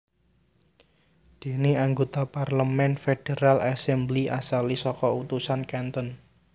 Dene anggota parlemen Federal assembly asale saka utusan canton